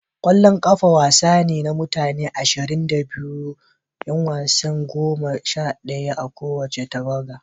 Ƙwallon kafa wasa ne na mutane ashirin da biyu, 'yan wasa goma sha daya a kowace tawaga.